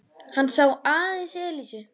Hann sá aðeins Elísu.